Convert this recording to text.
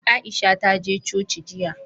Aisha ta je coci jiya.